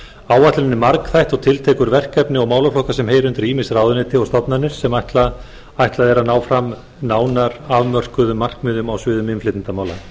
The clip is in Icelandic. áætlunin er margþætt og tiltekur verkefni og málaflokka sem heyra undir ýmis ráðuneyti og stofnanir sem ætlað er að ná fram nánar afmörkuðum markmiðum á sviðum innflytjendamála gert